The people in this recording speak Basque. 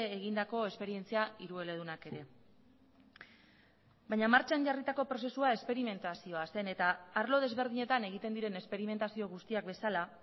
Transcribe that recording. egindako esperientzia hirueledunak ere baina martxan jarritako prozesua esperimentazioa zen eta arlo desberdinetan egiten diren esperimentazio guztiak bezala